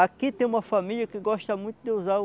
Aqui tem uma família que gosta muito de usar